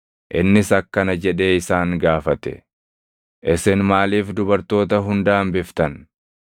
Innis akkana jedhee isaan gaafate; “Isin maaliif dubartoota hunda hambiftan?